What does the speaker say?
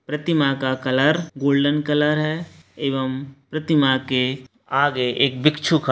प्रतिमा का colour golden colour है। एवम प्रतिमा के आगे एक भिक्षु का --